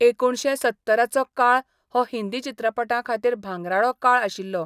एकुणशे सत्तराचो काळ हो हिंदी चित्रपटां खातीर भांगराळो काळ आशिल्लो.